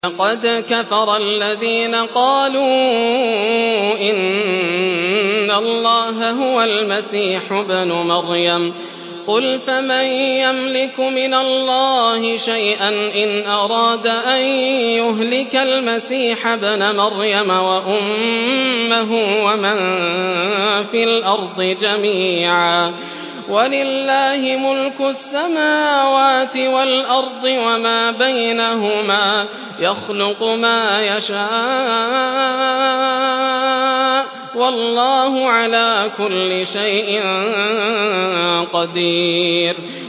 لَّقَدْ كَفَرَ الَّذِينَ قَالُوا إِنَّ اللَّهَ هُوَ الْمَسِيحُ ابْنُ مَرْيَمَ ۚ قُلْ فَمَن يَمْلِكُ مِنَ اللَّهِ شَيْئًا إِنْ أَرَادَ أَن يُهْلِكَ الْمَسِيحَ ابْنَ مَرْيَمَ وَأُمَّهُ وَمَن فِي الْأَرْضِ جَمِيعًا ۗ وَلِلَّهِ مُلْكُ السَّمَاوَاتِ وَالْأَرْضِ وَمَا بَيْنَهُمَا ۚ يَخْلُقُ مَا يَشَاءُ ۚ وَاللَّهُ عَلَىٰ كُلِّ شَيْءٍ قَدِيرٌ